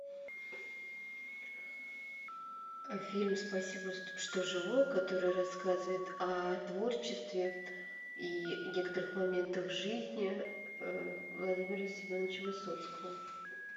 фильм спасибо что живой который рассказывает о творчестве и некоторых моментах жизни владимира семеновича высоцкого